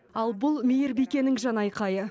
ал бұл мейірбикенің жанайқайы